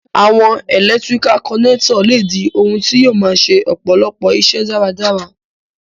Àwon electrical connector le di oun ti yio ma se ọ̀pọ̀lọpọ̀ isẹ́ dáradára